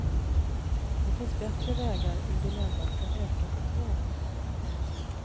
Det finns bättre vägar ur dilemmat än ökat tvång.